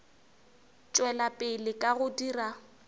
tšwela pele ka go dira